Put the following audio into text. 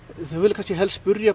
þau vilja kannski helst spyrja